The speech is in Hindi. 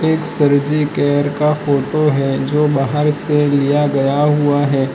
एक सर जी केयर का फोटो है जो बाहर से लिया गया हुआ है।